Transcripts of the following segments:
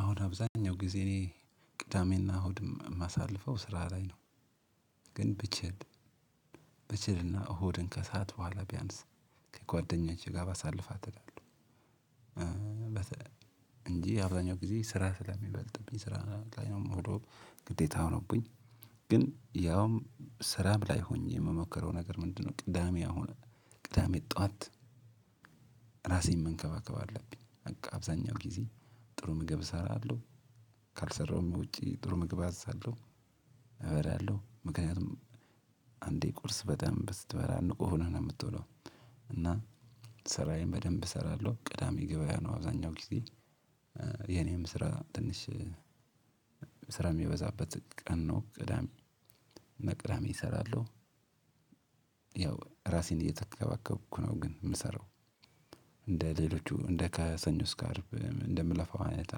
አሁን አብዛኛውን ጊዜ ቅዳሜና እሁድ ማሳልፈው ስራ ላይ ነው። ግን ብችል ብችልና እሁድን ከሰአት በኋላ ቢያንስ ከጓደኞቸ ጋር ባሳልፋት። እንዲህ አብዛኛው ጊዜ ስራ ስለሚበልጥብኝ ስራ ላይ ነው የምሄደው ግዴታ ሆኖብኝ ግን ያውም ስራም ላይ ሆኜ የምሞከረው ነገር ምንድነው? ቅዳሜ አሁን ቅዳሜ ጠዋት። ራሴን መንከባከብ አለብኝ በቃ አብዛኛው ጊዜ ጥሩ ምግብ እሰራለሁ። ካልሰራሁም ውጪ ጥሩ ምግብ አዝዛለሁ። እበላለሁ ምክንያቱም አንዴ ቁርስ በደንብ ስትበላ ንቁ ሆነህ ነው የምትውለው። እና ስራዬን በደንብ እሰራለሁ። ቅዳሜ ገብያ ነው አብዛኛው ጊዜ የኔም ስራ ትንሽ ስራ የሚበዛበት ቀን ነው ቅዳሜ መቅዳሜ እሰራለሁ። ያው ራሴን እየተከባከብኩ ነው ግን ምሰራው እንደ ሌሎቹ እንደ ከሰኞ እስከ አርብ እንደምለፋው አይነት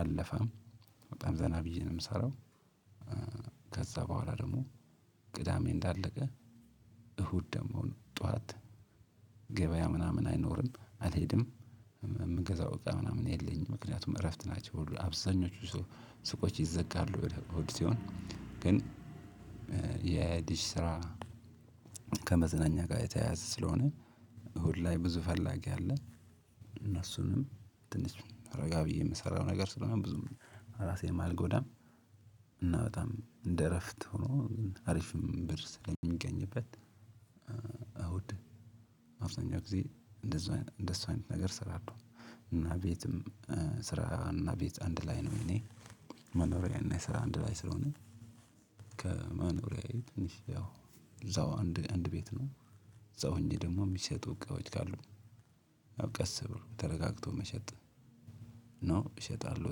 አለፋም በጣም ዘና ብዬ ነው የምሰራው። ከዛ በኋላ ደግሞ ቅዳሜ እንዳለቀ እሁድ ደግሞ ጠዋት ገበያ ምናምን አይኖርም አልሄድም የምንገዛው እቃ ምናምን የለኝም። ምክንያቱም እረፍት ናቸው ሁሉ አብዛኞቹ ሱቆች ይዘጋሉ። ወደ ቆድሲዮን ግን የዲሽ ስራ ከመዝናኛ ጋር የተያያዘ ስለሆነ እሁድ ላይ ብዙ ፈላጊ አለ። እነሱንም ትንሽ ረጋ ብዬ የምሰራው ነገር ስለሆነ ብዙም ራሴንም አልጎዳም። እና በጣም እንደ እረፍት ሆኖ አሪፍም ብር ስለሚገኝበት እሁድ አብዛኛውን ጊዜ እንደዚህ እንደዚህ አይነት ነገር እሰራለሁ። እና ቤትም ስራ እና ቤት አንድ ላይ ነው እኔ መኖሪያና የሰራ አንድ ላይ ስለሆነ። ከመኖሪያዬ ትንሽ ያው እዛው አንድ አንድ ቤት ነው። ሰው እንጂ ደግሞ የሚሸጡ እቃዎች ካሉ ቀስ ብሎ ተረጋግቶ መሸጥ ኖ እሸጣለሁ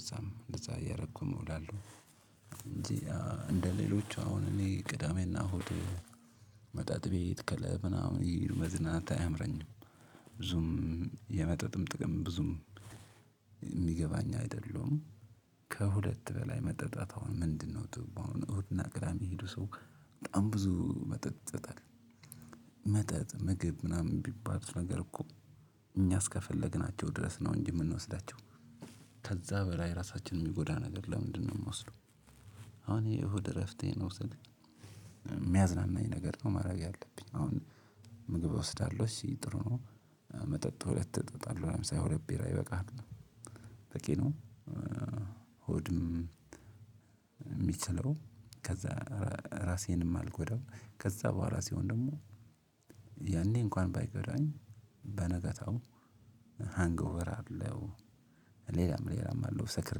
እዛም እደዛ እያረኩም እውላለሁ። እንጂ እንደሌሎቹ አሁን እኔ ቅዳሜና እሁድ መጠጥ ቤት ከለብ ምናምን ይሄዱ መዝናናት አያምረኝም። ብዙም የመጠጥም ጥቅም ብዙም የሚገባኝ አይደለሁም ከሁለት በላይ መጠጣት አሁን ምንድነው? ጥቅሙ እሁድ እና ቅዳሜ ሄዶ ሰው በጣም ብዙ መጠጥ ይጠጣል። መጠጥ ምግብ ምናምን ቢባል ነገር እኮ እኛ እስከፈለግናቸው ድረስ ነው እንጂ የምንወስዳቸው። ከዛ በላይ ራሳችን የሚጎዳ ነገር ለምንድነው? የምንወስደው። አሁን ይሄ እሁድ እረፍቴን ነው ወሰድኩኝ ሚያዝናናኝ ነገር ነው ማድረግ ያለብኝ አሁን ምግብ እወስዳለሁ እሺ ጥሩ ነው። መጠጥ ሁለት እጠጣለሁ አምሳ ሁለት ቢራ ይበቃሀል? በቂ ነው። ሆድም የሚችለው ከዛ ራሴንም አልጎዳው ከዛ በኋላ ሲሆን ደግሞ ያኔ እንኳን ባይጎዳኝ በነገታው ሃንግ ኦቨር አለው። ሌላም ሌላም አለው ሰክሬ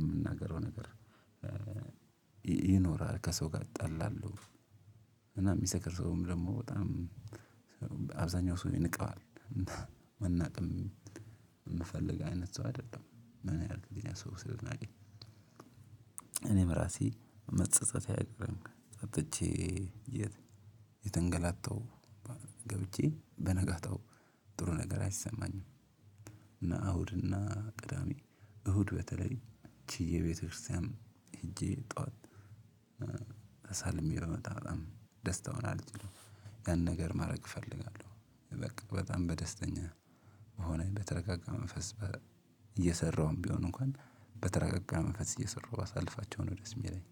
የምናገረው ነገር ይኖራል ከሰው ጋር ይጣላሉ። እና የሚሰክር ሰውም ደግሞ በጣም አብዛኛው ሰው ይንቀዋል። መናቅም የምፈልግ አይነት ሰው አይደለሁም። ምን ያደርግልኛል ሰው ስለናቀኝ? እኔም ራሴ መፀፀት ያለ ነው ጠጥቸ የተንገላታው ገብቸ በነጋታው ጥሩ ነገር አይሰማኝም። እና እሁድ እና ቅዳሜ እሁድ በተለይ ችዬ ቤተክርስቲያንም ሄጄ ጠዋት ተሳልሜ ብመጣ በጣም ደስታውን አልችልም ያን ነገር ማድረግ እፈልጋለሁ። በቃ በጣም በደስተኛ ሆነህ በተረጋጋ መንፈስ እየሰራሁም ቢሆንም እንኳን በተረጋጋ መንፈስ እየሰራሁ ባሳልፋቸው ነው ደስ ሚለኝ።